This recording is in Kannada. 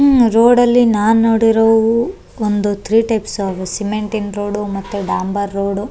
ರೋಡಲ್ಲಿ ನಾನ್ ನೋಡಿರೋವು ಒಂದು ತ್ರೀ ಟೈಪ್ಸ್ ಆವೆ ಒಂದು ಸಿಮೆಂಟಿನ್ ರೋಡ್ ಮತ್ತೆ ಡಾಂಬರ್ ರೋಡ್ .